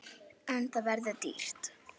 En það verður dýrt.